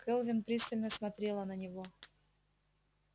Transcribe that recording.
кэлвин пристально смотрела на него